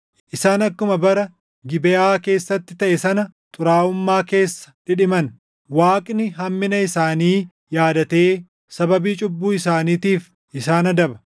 Isaan akkuma bara Gibeʼaa keessatti taʼe sana xuraaʼummaa keessa dhidhiman. Waaqni hammina isaanii yaadatee sababii cubbuu isaaniitiif isaan adaba.